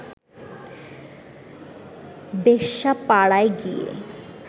বেশ্যাপাড়ায় গিয়ে